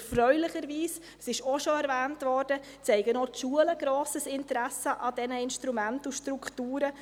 Erfreulicherweise, es wurde bereits erwähnt, zeigen auch die Schulen ein grosses Interesse an diesen Instrumenten und Strukturen.